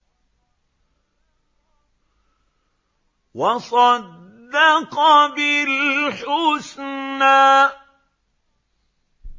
وَصَدَّقَ بِالْحُسْنَىٰ